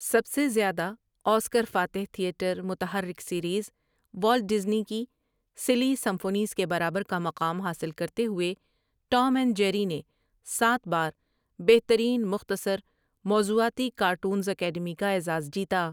سب سے زیادہ آسکر فاتح تھیٹر متحرک سیریز، وولٹ ڈذنی کی سلی سمفونیس کے برابر کا مقام حاصل کرتے ہوئے، ٹوم اینڈ جیری نے سات بار بہترین مختصر موضوعاتی کارٹونس اکیڈمی کا اعزاز جیتا ۔